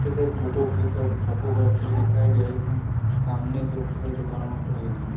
इसे बुको की को बुको को रखी हुई दिखाई दे रही है सामने की ओ दुकानों खुल हुई है।